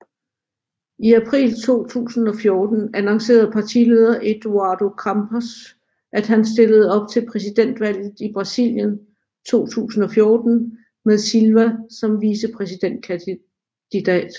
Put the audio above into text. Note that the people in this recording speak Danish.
I april 2014 annoncerede partileder Eduardo Campos at han stillede op til præsidentvalget i Brasilien 2014 med Silva som vicepræsidentkandidat